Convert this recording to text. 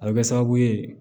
A bɛ kɛ sababu ye